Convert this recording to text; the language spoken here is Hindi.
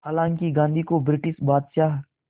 हालांकि गांधी को ब्रिटिश बादशाह